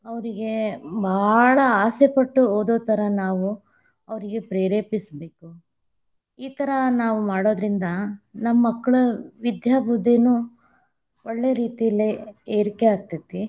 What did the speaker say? ಅವ್ರೀಗೆ ಭಾಳ ಆಸೆಪಟ್ಟು ಓದುಥರಾ ನಾವು ಅವ್ರೀಗೆ ಪ್ರೇರೆಪಿಸಬೇಕು, ಈಥರಾ ನಾವ್‌ ಮಾಡೊದರಿಂದ ನಮ್ಮ ಮಕ್ಕಳ ವಿದ್ಯಾ ಬುದ್ಧಿನು ಒಳ್ಳೆ ರೀತಿಲಿ ಏರಿಕೆ ಆಗತೇತಿ.